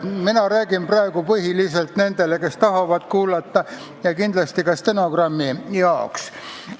Ma räägin praegu põhiliselt nendele, kes tahavad kuulata, ja kindlasti ka stenogrammi jaoks.